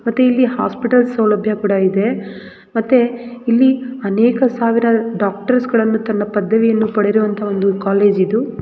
ಮತ್ತೆ ಇಲ್ಲಿ ಹಾಸ್ಪಿಟಲ್ ಸೌಲಭ್ಯ ಕೂಡ ಇದೆ ಮತ್ತೆ ಇಲ್ಲಿ ಅನೇಕ ಸಾವಿರ ಡಾಕ್ಟರ್ಸ್ ಗಳನ್ನು ತನ್ನ ಪದವಿಯನ್ನು ಪಡೆದಿರುವಂತ ಒಂದು ಕಾಲೇಜ್ ಇದು .